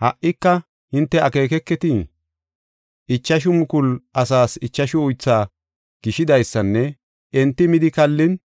Ha77ika hinte akeeketii? Ichashu mukulu asaas ichashu uythaa gishidaysanne enti midi kallin